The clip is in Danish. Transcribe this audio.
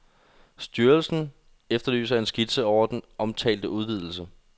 Styrelsen efterlyser en skitse over den omtalte udvidelse.